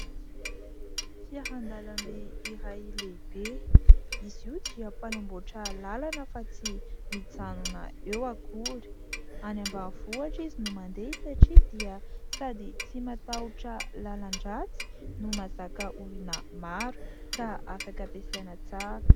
fiahandalamby iray lehibe izy iotso ampanamboatra lalana fa tsy mitsanona eo akory any am-baavohatra izy no mandeha satria dia sady tsy matahotra lalan-dratsy no mazaka olona maro ka afaka mpesaina tsara